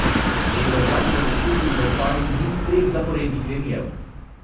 Lendavčani bodo skušali zaustaviti niz treh zaporednih remijev.